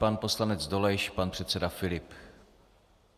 Pan poslanec Dolejš, pan předseda Filip.